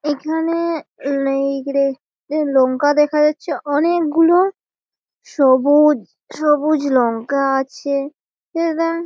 এইখানে লঙ্কা দেখা যাচ্ছে অনেক গুলো-ও সবুজ সবুজ লঙ্কা আছে --